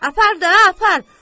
Apar da, apar.